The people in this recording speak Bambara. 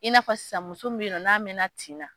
I n'a fɔ sisan muso min be yen nɔ n'a mɛna tin na